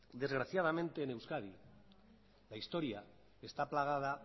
desgraciadamente en euskadi la historia está plagada